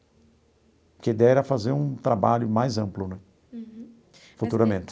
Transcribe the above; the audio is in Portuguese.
Porque a ideia era fazer um trabalho mais amplo né, futuramente.